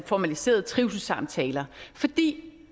formaliserede trivselssamtaler for det